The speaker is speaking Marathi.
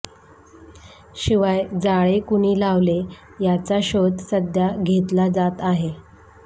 शिवाय जाळे कुणी लावले याचा शोध सध्या घेतल्या जात आहे